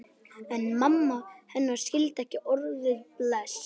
En mamma hennar skildi ekki orðið bless.